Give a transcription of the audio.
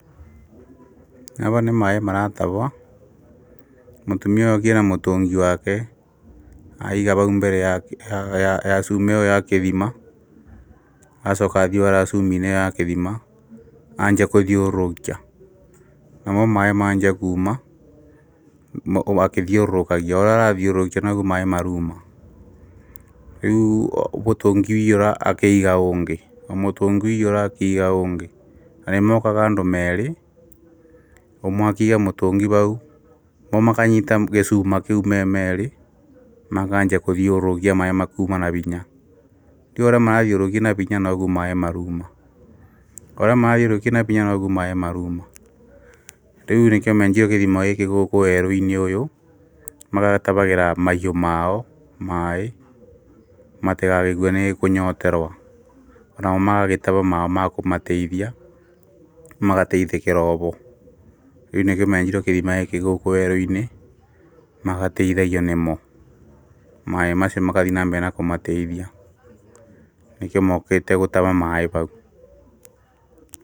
Haha nĩ maaĩ maratahwo, mũtumia ũyũ okire na mũtũngi wake. Aiga mbere ya swing ĩyo ya gĩthima. Acoka athiĩ oya swing ya gĩthima, anjia gũthiũrũrũkia. Namo maaĩ manjia kuma o agĩthiũrũkagia.O ũrĩa athiũrũrũkia, noguo maĩ marauma. Rĩu mũtũngi waiyũra, akaiga ũngĩ.O mũtũngi waiyũra, akaiga ũngĩ. Na nĩ mokaga andũ eerĩ, ũmwe akĩiga mũtũngi hau, makanyita gĩcuma kĩu me meerĩ. Makanjia gũthiũrũkia maaĩ makauma na hinya. Rĩu ũrĩa marathiũrũrũkia na hinya noguo maaĩ marauma. Rĩu nĩkĩo menjeirwo gĩthima gĩkĩ gũkũ weerũ-inĩ ũyũ, magatahagĩra mahiũ mao maaĩ matigagĩkue nĩ kũnyoterwo. Onao magagĩtahamaomakũmateithia, magagĩteithĩkĩra o ho. Rĩu nĩkĩo menjeirwo gĩthima gĩkĩ gũkũ weerũ-inĩ magateithagio nĩmo. Maaĩ macio magathiĩ na mbere kũmateithia. Nĩkĩo mokĩte gũtaha maĩ hau.